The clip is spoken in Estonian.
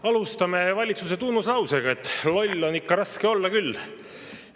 Alustame valitsuse tunnuslausega, et loll on ikka raske olla küll.